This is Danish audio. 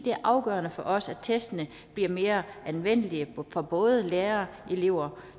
er afgørende for os at testene bliver mere anvendelige for både lærere og elever